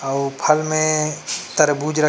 अउ फल में तरबूज रख--